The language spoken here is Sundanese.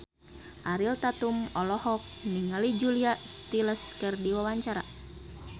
Ariel Tatum olohok ningali Julia Stiles keur diwawancara